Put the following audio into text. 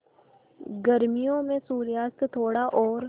गर्मियों में सूर्यास्त थोड़ा और